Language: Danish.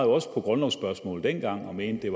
også på grundlovsspørgsmålet dengang og mente at